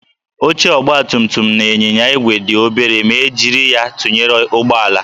Oche ọgbatumtum na ịnyịnya igwe dị obere ma e jiri ya tụnyere ụgbọala